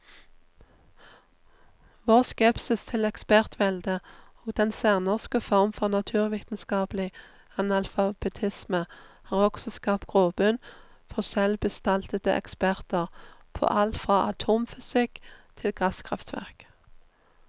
Vår skepsis til ekspertvelde og den særnorske form for naturvitenskapelig analfabetisme har også skapt grobunn for selvbestaltede eksperter på alt fra atomfysikk til gasskraftverk.